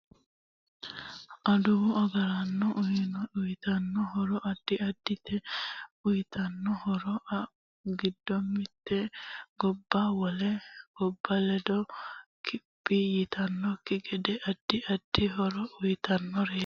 Adduwu agaraanno uyiitanno horo addi addite uyiitanno horo giddo mite gobba wole gobba ledo kiphi yitanokki gede addi addi horo uyiitanoreeti